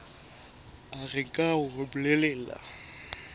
a re nke hore bolelele